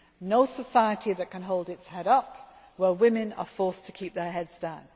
No society can hold its head up where women are forced to keep their heads down.